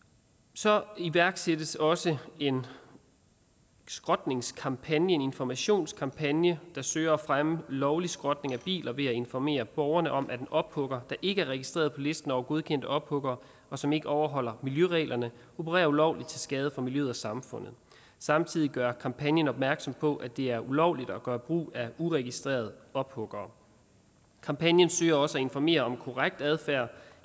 så iværksættes der også en skrotningskampagne en informationskampagne der søger at fremme lovlig skrotning af biler ved at informere borgerne om at en ophugger der ikke er registreret på listen over godkendte ophuggere og som ikke overholder miljøreglerne opererer ulovligt til skade for miljøet og samfundet samtidig gør kampagnen opmærksom på at det er ulovligt at gøre brug af uregistrerede ophuggere kampagnen søger også at informere om korrekt adfærd